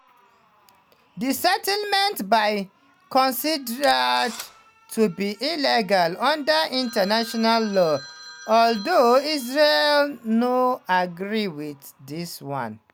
di settlements dey considered to be illegal under international law although israel no agree with dis one.